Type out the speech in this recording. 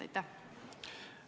Aitäh!